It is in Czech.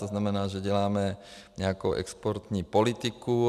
To znamená, že děláme nějakou exportní politiku.